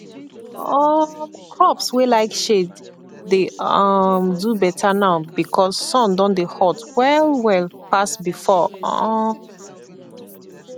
um crops wey like shade dey um do better now because sun don dey hot well well pass before um